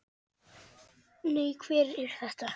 Nei, hver er þetta?